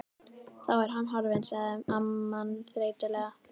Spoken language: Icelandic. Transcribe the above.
Þá er hann horfinn sagði amman þreytulega.